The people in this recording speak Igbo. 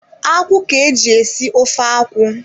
Akwụ ka-eji esi ofe akwụ.